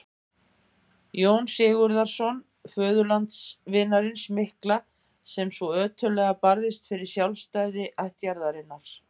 Jóns Sigurðssonar, föðurlandsvinarins mikla, sem svo ötullega barðist fyrir sjálfstæði ættjarðarinnar.